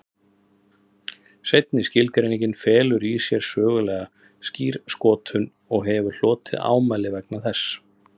Seinni skilgreiningin felur í sér sögulega skírskotun og hefur hlotið ámæli vegna þess.